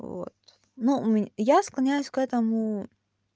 вот ну я склоняюсь к этому